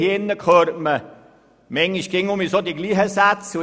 Hier im Grossen Rat hört man manchmal dieselben Sätze.